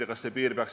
Aitäh teile!